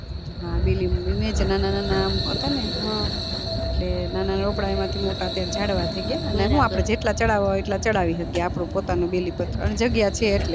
હા બીલી છે નાના નાના હતા ને એટલે નાના રોપ્નાય માટે અત્યારે જડવા થય ગયા ને જેટલા ચડવા હોઈ એટલે ચડાવી હકીયે આપડું પોતાનું બીલીપત્ર અને જગ્યા છે અટલે